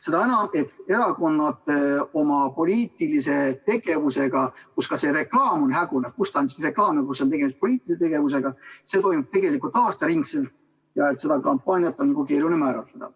Seda enam, et erakondade poliitiline tegevus – kus ka see reklaam on hägune, kus on reklaam ja kus on tegemist poliitilise tegevusega – toimub tegelikult aastaringselt ja kampaaniat on keeruline määratleda.